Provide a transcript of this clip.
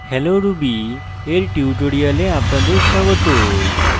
hello ruby এর tutorial আপনাদের স্বাগত